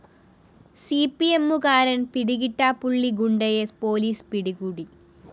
സിപിഎമ്മുകാരന്‍ പിടികിട്ടാപ്പള്ളി ഗുണ്ടയെ പോലീസ് പിടികൂടി